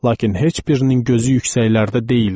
Lakin heç birinin gözü yüksəklərdə deyildi.